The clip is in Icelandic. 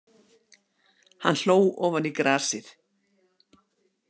Hann hló ofan í grasið.